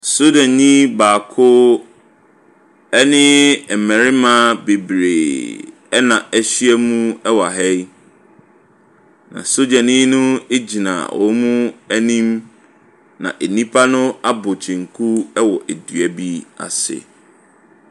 Sogyani baako ɛne mmarima bebree na ahyiam wɔ ha yi. Na sogyani no gyina wɔn anim. Na nnipa no abɔ kyenku wɔ dua bi ase.